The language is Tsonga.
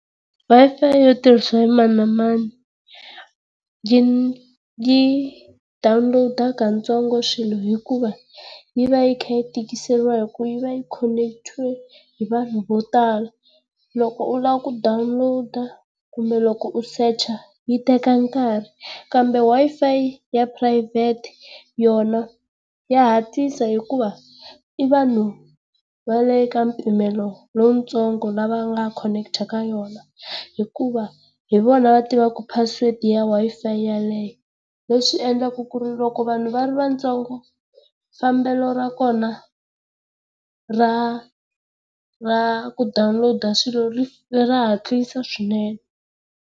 Wi-Fi yo tirhisiswa hi mani na mani yi yi dawuniloda katsongo swilo hikuva yi va yi kha yi tikiseriwa hi ku vi va yi khoneketiwe hi vanhu vo tala. Loko u lava ku dawuniloda, kumbe loko u secha yi teka nkarhi. Kambe Wi-Fi ya phurayivhete yona ya hatlisa hikuva i vanhu va le ka mpimelo lowutsoongo lava nga khoneketa ka yona hikuva hi vona va tivaka password ya Wi-Fi yaleyo. Leswi endlaka ku ri loko vanhu va ri vatsongo, fambelo ra kona ra ra ku dawuniloda swilo ri ra hatlisa swinene.